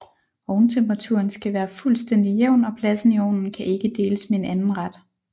Ovntemperaturen skal være fuldstændig jævn og pladsen i ovnen kan ikke deles med en anden ret